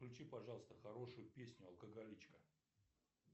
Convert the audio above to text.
включи пожалуйста хорошую песню алкоголичка